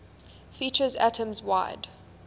features atoms wide